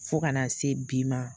Fo kana se bi ma.